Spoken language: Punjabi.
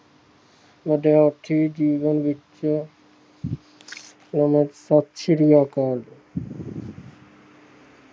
ਮਨੁੱਖੀ ਜੀਵਨ ਵਿਚ